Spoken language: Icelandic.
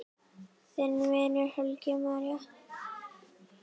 Þinn vinur, Helgi Már.